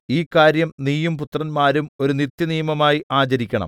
ഈ കാര്യം നീയും പുത്രന്മാരും ഒരു നിത്യനിയമമായി ആചരിക്കണം